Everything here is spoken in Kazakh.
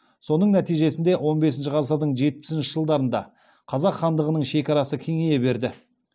соның нәтижесінде он бесінші ғасырдың жетпісінші жылдарында қазақ хандығының шекарасы кеңейе берді